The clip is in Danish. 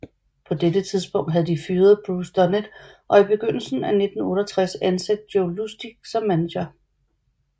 På dette tidspunkt havde de fyret Bruce Dunnett og i begyndelsen af 1968 ansat Jo Lustig som manager